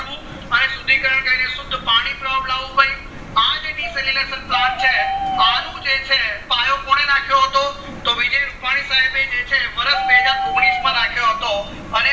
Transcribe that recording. કરવું અને શુદ્ધિકરણ કરી શુદ્ધ પાણી લાવું ભય અજ્જ deceleration plant છે અનુ જે છે પાયો કોને નાખ્યો હતો તો વિજય રૂપની સાયબ એ જે છે વર્ષ બેહજાર ઓગણીસ માં નાખ્યો હતો અને